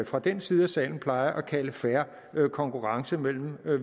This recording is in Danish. fra den side af salen plejer at kalde fair konkurrence mellem